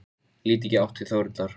Lít ekki í áttina til Þórhildar.